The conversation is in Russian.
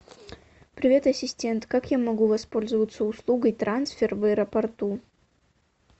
привет ассистент как я могу воспользоваться услугой трансфер в аэропорту